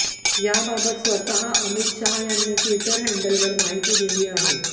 याबाबत स्वतः अमित शहा यांनी ट्विटर हँडलवर माहिती दिली आहे